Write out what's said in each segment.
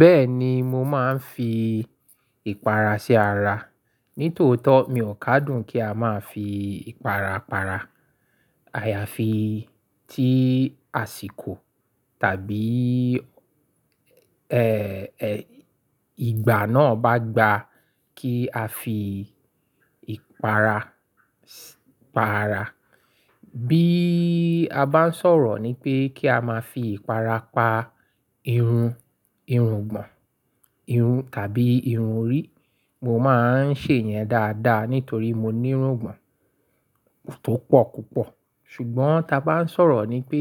Bẹ́ẹ̀ni, mo máa ń fi ìpara ṣe ara. Nítòótó mi ò ká dùn kí a máa fi ìpara para. Àyàfi tí àsìkò tàbí, ẹ́, ẹ́, ìgbà náà bá gba kí a fi ìpara, para. Bí a bá ń sọ̀rọ̀ ni pé kí a máa fi ìpara pa irun, irun ìgbọ̀n, irun tàbí irun orí, mo máa ń ṣe ìyẹn dáadáa nítorí mo ní irun ìgbọ̀n tó pọ̀ púpọ̀. Ṣùgbọ́n ta bá ń sọ̀rọ̀ ni pé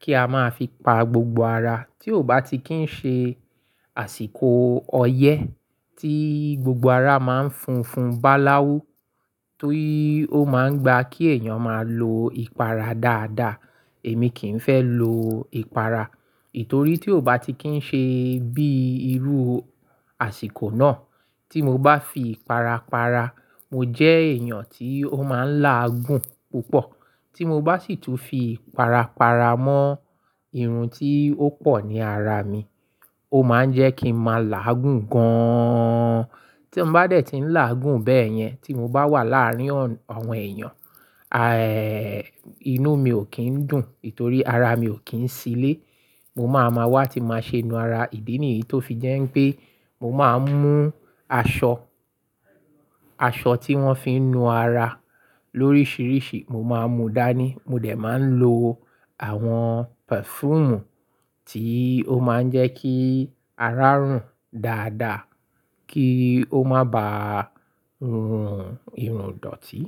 kí a máa fi pa gbogbo ara, tí ó bá ti kí ń ṣe àsìkò ọyẹ́ tí gbogbo ara máa ń funfun bá láwú, tó o máa ń gba kí èèyàn máa lo ìpara dáadáa, èmi kì ń fẹ́ lo ìpara. Nítorí tí ó bá ti kí ń ṣe bí irú àsìkò náà, tí mo bá fi ìpara para, mo jẹ́ èèyàn tí ó máa ń láàgùn púpọ̀. Tí mo bá sì tún fi ìpara para mọ́ irun tí ó pọ̀ ní ara mi, ó máa ń jẹ́ kí n máa là á gùn gan-an. Tí mo bá dẹ̀ ti ń là á gùn bẹ́ẹ̀ yẹn, tí mo bá wà láàárín àwọn èèyàn, aì, inú mi ò kí ń dùn, nítorí ara mi ò kí ń ṣilẹ̀. Mo máa ma wá tí máa ṣe nu ara. Ìdí nìyí tó fi jẹ́ pé mo máa ń mú aṣọ, aṣọ tí wọ́n fi ń nu ara lóríṣiríṣi, mo máa ń mu dání. Mo dẹ̀ máa ń lo àwọn perfume tí ó máa ń jẹ́ kí ara rùn dáadáa kí ó má bá rùn irun dọ̀tí.